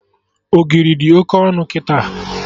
Ogiri dị Oke ọnụ kịta